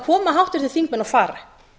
koma háttvirtir þingmenn og fara